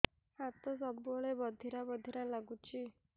ହାତ ସବୁବେଳେ ବଧିରା ବଧିରା ଲାଗୁଚି